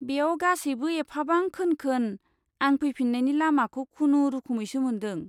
बेयाव गासैबो एफाबां खोन खोन, आं फैफिन्नायनि लामाखौ खुनुरुखुमैसो मोनदों।